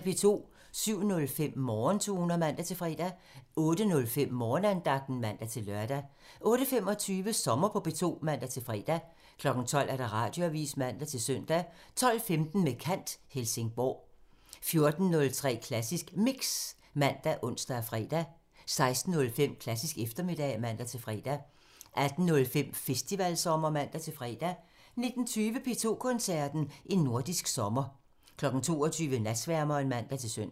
07:05: Morgentoner (man-fre) 08:05: Morgenandagten (man-lør) 08:25: Sommer på P2 (man-fre) 12:00: Radioavisen (man-søn) 12:15: Med kant – Helsingborg 14:03: Klassisk Mix ( man, ons, fre) 16:05: Klassisk eftermiddag (man-fre) 18:05: Festivalsommer (man-fre) 19:20: P2 Koncerten – En nordisk sommer 22:00: Natsværmeren (man-søn)